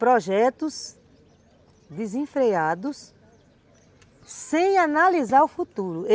projetos desenfreados, sem analisar o futuro.